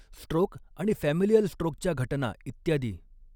stroke आणि familial स्ट्रोकच्या घटना इत्यादी